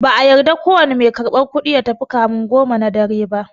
No cashier is allowed to leave before 10am.